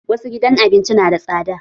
Wasu gidan abinci nada tsada